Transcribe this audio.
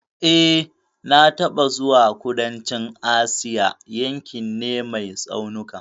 E, na taɓa zuwa kudancin Asia, yankin ne mai tsaunuka